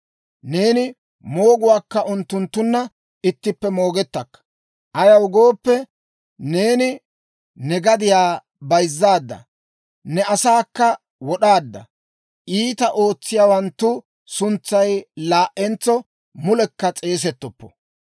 Neeni mooguwaakka unttunttunna ittippe moogettakka; ayaw gooppe, neeni ne gadiyaa bayzzaadda; ne asaakka wod'aadda. Iitaa ootsiyaawanttu suntsay laa"entso mulekka s'eesettoppo.